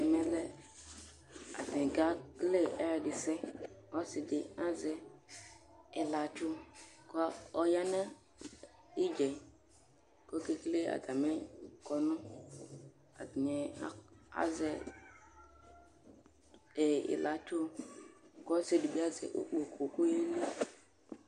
Ɛmɛ akekele atami ɛdisɛ Ɔsidi azɛ ilatsʋ kʋ ɔyanʋ idza yɛ kʋ ɔkekele atami kɔnʋ, atani azɛ ilatsʋ kʋ ɔsidibi azɛ ikpokʋ